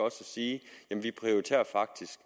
at sige vi prioriterer faktisk